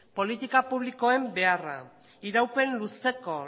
politiko publikoen beharra iraupen luzeko